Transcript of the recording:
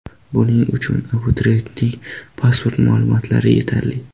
Buning uchun abituriyentning pasport ma’lumotlari yetarli.